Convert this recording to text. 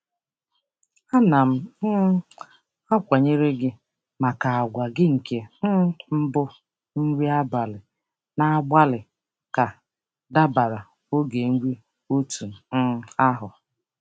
A na m um akwanyere gi maka àgwà gị nke um mbụ nri abalị na-agbalị ka dabara oge nri otú um ahụ.